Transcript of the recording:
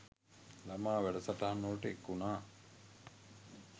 ළමා වැඩ සටහන්වලට එක්වුණා.